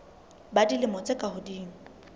ba dilemo tse ka hodimo